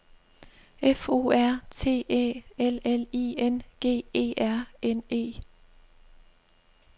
F O R T Æ L L I N G E R N E